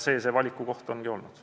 See see valiku koht ongi olnud.